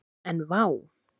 En vá!